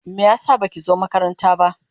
Me yasa baki zo makaranta ba?